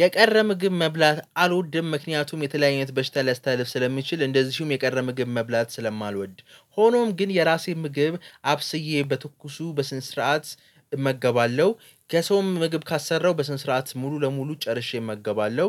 የቀረ ምግብ መብላት አልወድም ምክንያቱም የተለያየት በሽታ ሊያስተልፍ ስለሚችል እንደዚሁም የቀረ ምግብ መብላት ስለማልወድ። ሆኖም ግን የራሴን ምግብ አብስዬ በትኩሱ በስነ ስርዓት እመገባለሁ ከሰውም ምግብ ካሰራው በስንት ስርዓት ሙሉ ለሙሉ ጨርሼ እመገባለሁ።